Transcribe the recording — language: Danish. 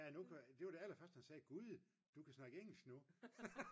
det var det aller første han sagde gud du kan snakke engelsk nu